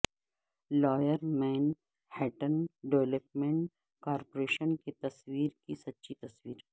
lower Manhattan development corporation کے تصویر کی سچی تصویر